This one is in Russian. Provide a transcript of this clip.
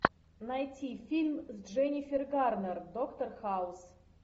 найти фильм с дженнифер гарнер доктор хаус